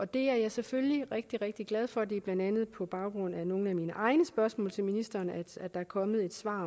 det er jeg selvfølgelig rigtig rigtig glad for det er blandt andet på baggrund af nogle af mine egne spørgsmål til ministeren at der er kommet svar